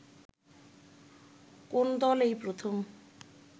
কোন দল এই প্রথম